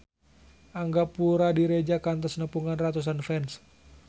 Angga Puradiredja kantos nepungan ratusan fans